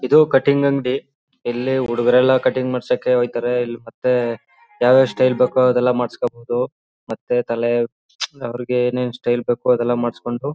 ಇದು ಕಟಿಂಗ್ ಅಂಗಡಿ ಇಲ್ಲಿ ಹುಡುಗ್ರೆಲ್ಲ ಕಟಿಂಗ್ ಮಾಡ್ಸಕ್ಕೆ ಹೋಯ್ತಾರೆ ಮತ್ತೆ ಯವ್ ಯಾವ್ ಸ್ಟೈಲ್ ಬೇಕೋ ಅದ್ನೆಲ್ಲ ಮಾಡಸ್ಕೋಬೋದು ಮತ್ತೆ ತಲೆ ಅವರಿಗೆ ಯವ್ ಯಾವ್ ಸ್ಟೈಲ್ ಬೇಕೋ ಅದ್ನೆಲ್ಲ ಮಾಡ್ಸ್ಕೊಂಡು---